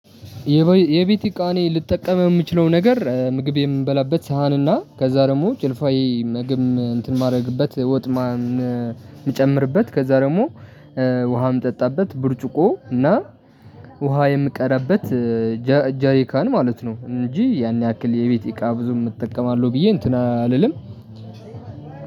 የቤት እቃ እኔ ልጠቀም የምችለው ነገር ምግብ የምበላበት ሳህንና ከዛ ደግሞ ጭልፋ ምግብ እንትን ማድረግበት ወጥ ማን እምጨምርበት ከዛ ደግሞ ውሃም እምጠጣበት ብርጭቆ እና ውሃ የምቀዳበት ጃሪካን ማለት ነው። እንጂ ያን ያክል የቤት እቃ ብዙም እጠቀማለሁ ብዬ እንትን አልልም።